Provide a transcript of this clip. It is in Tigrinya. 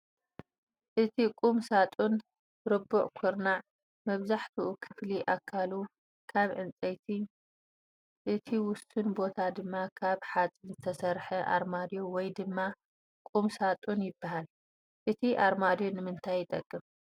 እቲ ቁም ሳጡን ርቡዕ ኩርና መብዛሕቲኡ ክፍሊ ኣካሉ ካብ ዕንፀቲ እቲ ውሱን ቦታ ድማ ካብ ሓፂን ዝተስርሐ ኣርማድዮ ወይ ድማ ቁም ሳጡን ይበሃል፡፡ እቲ ኣርማድዮ ንምንታይ ይጠቅም?